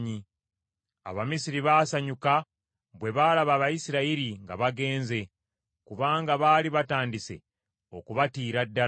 Abamisiri baasanyuka bwe baalaba Abayisirayiri nga bagenze, kubanga baali batandise okubatiira ddala.